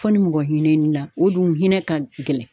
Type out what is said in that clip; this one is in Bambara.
Fɔ ni mɔgɔ hinɛ n'i la o dun hinɛ ka gɛlɛn